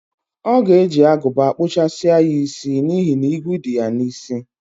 O ga-eje aguba kpuchasi ya isi n'ihi na igwu di ya n'isi.